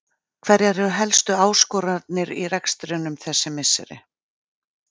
Hverjar eru helstu áskoranirnar í rekstrinum þessi misserin?